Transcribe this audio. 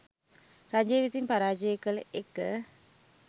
රජය විසින් පරාජය කළ එක